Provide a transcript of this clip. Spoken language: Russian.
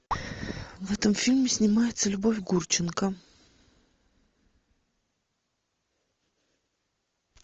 в этом фильме снимается любовь гурченко